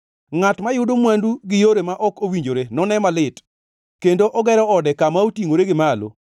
“Ngʼat mayudo mwandu gi yore ma ok owinjore none malit kendo ogero ode kama otingʼore gi malo, mondo otony ne kethruok!